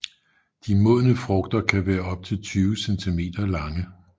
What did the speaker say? De modne frugter kan være op til 20 cm lange